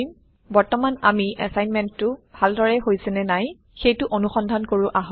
বৰ্তমান আমি assignmentটো ভাল দৰে হৈছে নাই সেইটো অনুসন্ধান কৰো আহক